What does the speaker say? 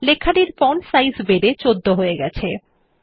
লেখাটির font size বেড়ে ১৪ হয়ে গেছে